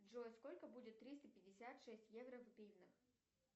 джой сколько будет триста пятьдесят шесть евро в гривнах